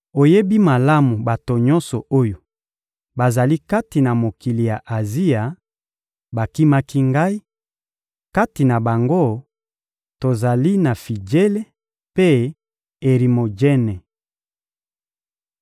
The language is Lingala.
Oyebi malamu ete bato nyonso oyo bazali kati na mokili ya Azia bakimaki ngai; kati na bango, tozali na Fijele mpe Erimojene.